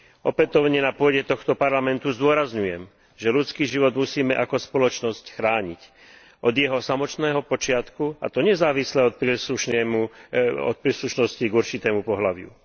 Opätovne na pôde tohto Parlamentu zdôrazňujem, že ľudský život musíme ako spoločnosť chrániť od jeho samotného počiatku, a to nezávisle od príslušnosti k určitému pohlaviu.